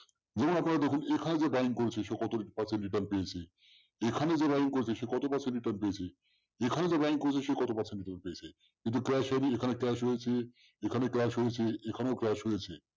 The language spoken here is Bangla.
যেমন আপনারা দেখুন এখানে যে buying করছে সে কত percent return পেয়েছে এখানে যে buying করছে সে কত percent return পেয়েছে এখানে যে buying করছে সে কত percent return পেয়েছে কিন্তু clash heavy এখানে clash হয়েছে এখানেও clash হয়েছে